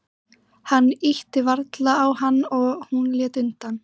Hann ýtti varlega á hana og hún lét undan.